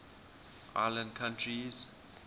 island countries